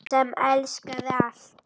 Sem elskaði allt.